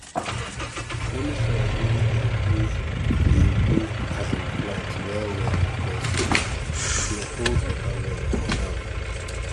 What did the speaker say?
loamy soil really dey improve dey improve um plant well well because he dey hold water well for ground